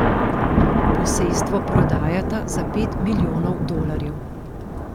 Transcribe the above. Posestvo prodajata za pet milijonov dolarjev.